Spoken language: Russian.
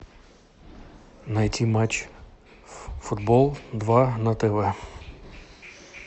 найти матч футбол два на тв